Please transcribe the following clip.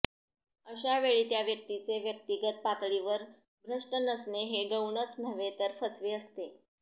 अशा वेळी त्या व्यक्तीचे व्यक्तिगत पातळीवर भ्रष्ट नसणे हे गौणच नव्हे तर फसवे असते